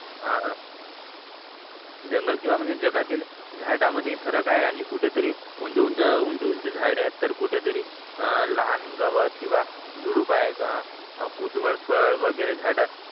हा जंगल किंवा म्हणजे जगातील झाडामध्ये फरक आहे आणि कुठेतरी उंच उंच झाडे आहेत तर कुठेतरी अह लहान गवत किंवा झुडूप आहे अह कुदळ फळ वगैरे झाड